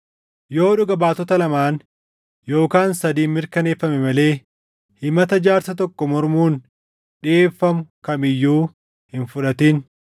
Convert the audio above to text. Yoo dhuga baatota lamaan yookaan sadiin mirkaneeffame malee himata jaarsa tokko mormuun dhiʼeeffamu kam iyyuu hin fudhatin.